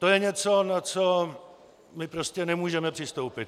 To je něco, na co my prostě nemůžeme přistoupit.